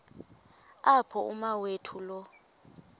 apho umawethu lo